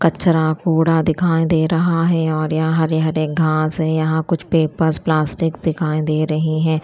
कचड़ा कूड़ा दिखाई दे रहा है और यहां हरे हरे घास है यहां कुछ पेपर्स प्लास्टिक दिखाई दे रहे है।